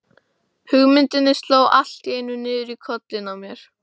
Hugmyndinni sló allt í einu niður í kollinn á mér.